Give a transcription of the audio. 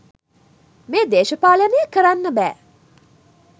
මේ දේශපාලනය කරන්න බෑ.